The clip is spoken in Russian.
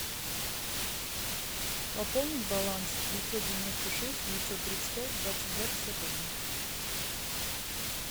пополнить баланс девятьсот девяносто шесть девятьсот тридцать пять двадцать два пятьдесят один